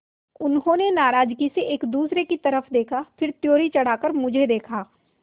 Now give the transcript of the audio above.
उन्होंने नाराज़गी से एक दूसरे की तरफ़ देखा फिर त्योरी चढ़ाकर मुझे देखा